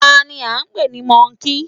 Tani án pè ní Mọ́ọ̀kì?